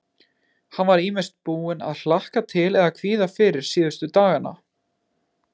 Hann var ýmist búinn að hlakka til eða kvíða fyrir síðustu dagana.